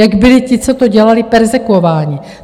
Jak byli ti, co to dělali, perzekvováni.